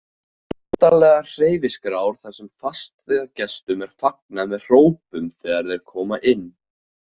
Notalegar hverfiskrár þar sem fastagestum er fagnað með hrópum þegar þeir koma inn.